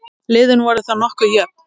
Liðin voru þá nokkuð jöfn.